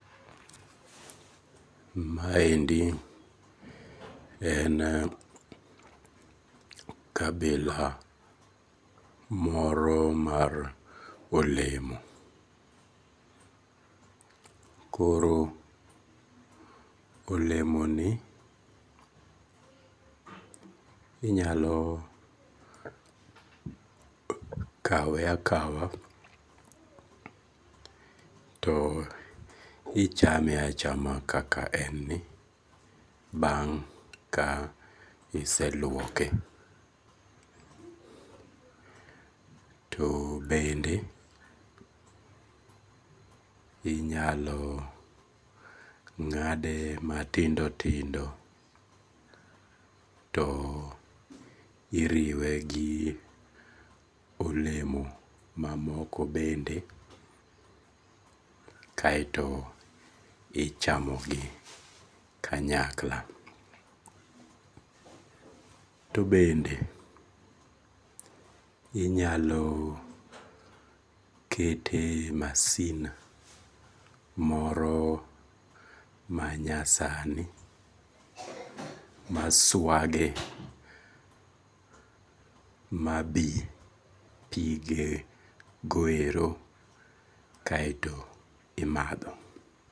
Maendi en kabila moro ma olemo, koro olemoni inyalo kawe akawa to ichame achama kaka en ni bang' ka iseluoke to bende inyalo ng'ade matindo tindo to iriwe gi olemo ma moko bende kaeto ichamogi kanyakla. To bende inyalo kete e masin moro manyasani maswage mabi pige go ero kaeto imatho